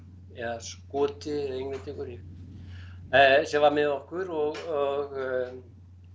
eða Skoti eða Englendingur ég en sem var með okkur og og